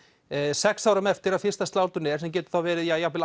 sex árum eftir að fyrsta slátrun er sem getur verið